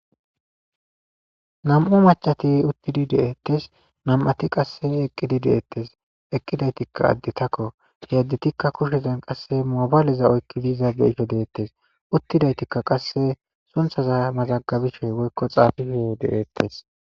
nam'u macati uttidi deettes nam'ati qasse eqqidi deeettes eqqidaytikka additakko he additikka kushezen qasse moobaaleza oykki diiza beisho deettes uttidaytikka qasse sunthaza mazagabishoy woykko xaafifiye deettes